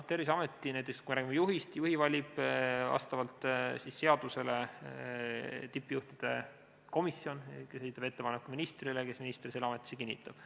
Terviseameti juhi valib vastavalt seadusele tippjuhtide komisjon, kes esitab ettepaneku ministrile, kes juhi ametisse kinnitab.